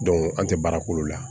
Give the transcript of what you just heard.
an tɛ baara k'olu la